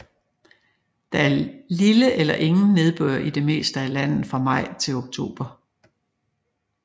Der er lille eller ingen nedbør i det meste af landet fra maj til oktober